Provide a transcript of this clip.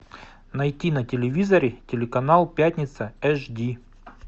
найти на телевизоре телеканал пятница аш ди